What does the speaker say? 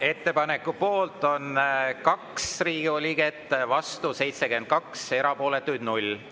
Ettepaneku poolt on 2 Riigikogu liiget, vastu 72, erapooletuid 0.